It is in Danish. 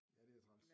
Ja det er træls